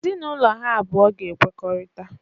Ezinaụlọ ha abụọ ga-ekwekorita